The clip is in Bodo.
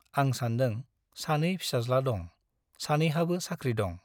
आं सानदों - सानै फिसाज्ला दं , सानैहाबो साख्रि दं ।